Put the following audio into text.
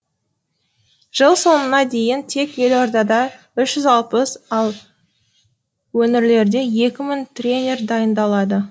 жыл соңына дейін тек елордада үш жүз алпыс ал өнірлерде екі мың тренер дайындалады